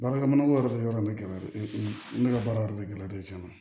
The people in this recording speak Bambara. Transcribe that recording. Baarakɛminɛn ko yɔrɔ de yɔrɔ nin kɛla ne ka baara yɔrɔ de gɛlɛya de cɛn na